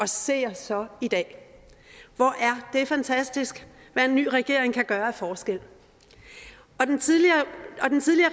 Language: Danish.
se os så i dag hvor er det fantastisk hvad en ny regering kan gøre af forskel og den tidligere